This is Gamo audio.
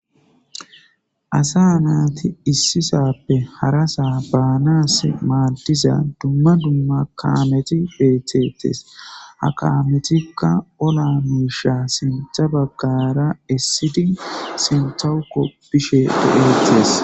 Asa naati issisappe harasaa baanas maaldiza dumma dumma kameti beethetes akametikka ola miisha sintha baggara essidi sintawuko bishe digeeetees